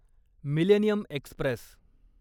millennium Express